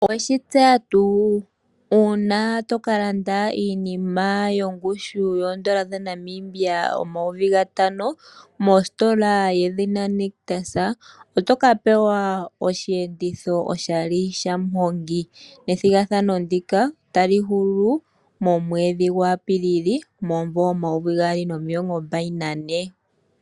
Oweshi tseya tuu uuna toka landa iinima yongushu yoondola dhaNamibia omayovi gatano mositola yedhina Nictus otoka pewa osheenditho oshali shamuhongi, nethigathano ndika otali hulu momwedhi gwaApilili 2024.